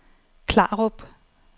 Klarup